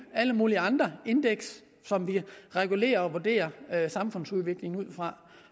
og alle mulige andre indeks som vi regulerer og vurderer samfundsudviklingen ud fra